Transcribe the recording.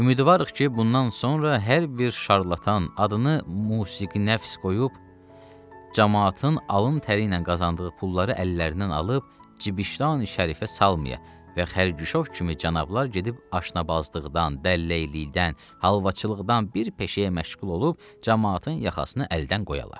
Ümidvarıq ki, bundan sonra hər bir şarlatan adını musiqinəfs qoyub camaatın alın təri ilə qazandığı pulları əllərindən alıb cibi şan şərəfə salmaya və xərquşov kimi cənablar gedib aşbazlıqdan, dəlləylikdən, halvaçılıqdan bir peşəyə məşğul olub camaatın yaxasından əldən qoyalar.